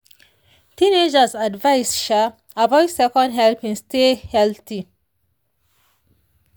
teenagers advised um avoid second helpings stay healthy."